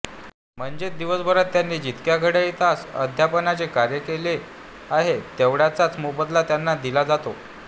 म्हणजेच दिवसभरात त्यांनी जितके घड्याळी तास अध्यापनाचे कार्य केले आहे तेवढ्याचाच मोबदला त्यांना दिला जातो